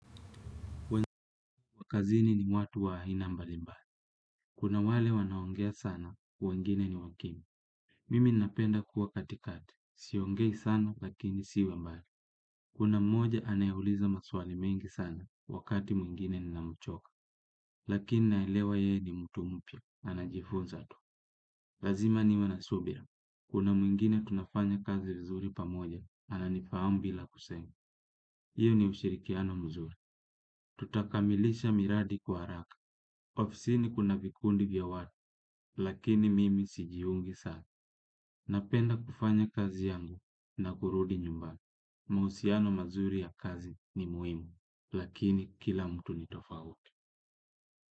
Kazi ni watu wa aina mbali mbali. Kuna wale wanaongea sana wengine ni wakimya. Mimi napenda kuwa katikati. Siongei sana lakini siwe mbali. Kuna mmoja anayeuliza maswali mengi sana wakati mwingine ninamchoka. Lakini naelewa yeye ni mtu mpya. Anajifunza tu. Lazima niwe na subira. Kuna mwingine tunafanya kazi nzuri pamoja, ananifahamu bila kusema. Hiyo ni ushirikiano mzuri. Tutakamilisha miradi kwa haraka. Ofisini kuna vikundi vya watu, lakini mimi sijiungi sana. Napenda kufanya kazi yangu na kurudi nyumbani. Mahusiano mazuri ya kazi ni muhimu lakini kila mtu ni tofauti.